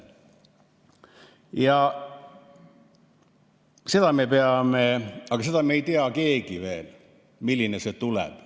Seda me ei tea keegi veel, milline see tuleb.